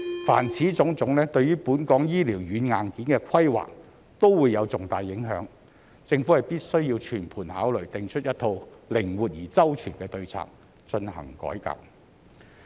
凡此種種，對於本港醫療軟硬件的規劃都會有重大影響，政府必須全盤考慮，訂出一套靈活而周全的對策，進行改革。